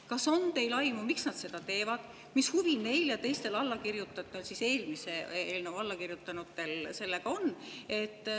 Kas teil on aimu, miks nad seda teevad ning mis huvi neil ja teistel eelmisele eelnõule allakirjutanutel sellega on?